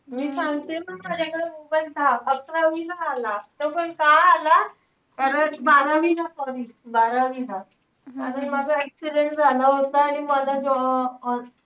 मी सांगते ना माझ्याकडे mobile द~ अकरावीला आला. तो पण का आला? कारण बारावी बारावीला आणि माझा accident झाला होता. मला ज~ अं